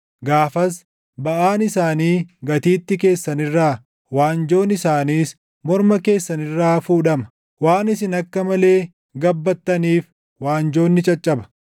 Gaafas baʼaan isaanii gatiittii keessan irraa, waanjoon isaaniis morma keessan irraa fuudhama; waan isin akka malee gabbattaniif waanjoon ni caccaba.